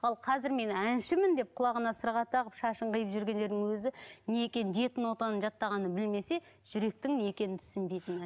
ал қазір мен әншімін деп құлағына сырға тағып шашын қиып жүргендердің өзі не екенін жеті нотаны жаттағанын білмесе жүректің не екенін түсінбейтін